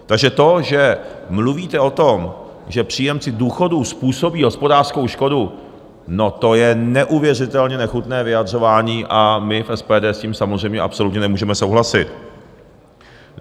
Takže to, že mluvíte o tom, že příjemci důchodů způsobí hospodářskou škodu, no to je neuvěřitelně nechutné vyjadřování a my v SPD s tím samozřejmě absolutně nemůžeme souhlasit.